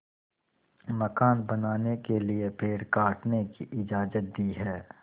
मकान बनाने के लिए पेड़ काटने की इजाज़त दी है